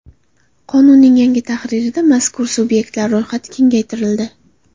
Qonunning yangi tahririda mazkur sub’ektlar ro‘yxati kengaytirildi.